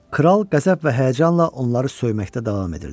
Kral qəzəb və həyəcanla onları söyməkdə davam edirdi.